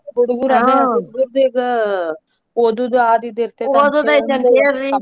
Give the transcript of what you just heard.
ಹುಡುಗರ್ ಈಗ ಓದುದು ಆದ ಇದ್ ಇರತೇತ್ .